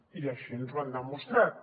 i així ens ho han demostrat